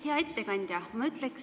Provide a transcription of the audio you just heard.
Hea ettekandja!